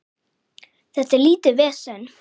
Þetta er lítið vesen.